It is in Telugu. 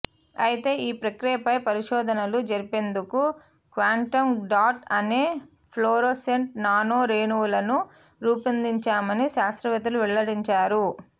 అయితే ఈ ప్రక్రియపై పరిశోధనలు జరిపేందుకు క్వాంటమ్ డాట్ అనే ఫ్లోరోసెంట్ నానో రేణువులను రూపొందించామని శాస్త్రవేత్తలు వెల్లడించారు